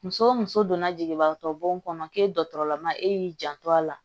Muso o muso donna jigibagatɔ bɔn kɔnɔ k'e dɔgɔtɔrɔla ma e y'i janto a la